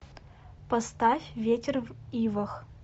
поставь ветер в ивах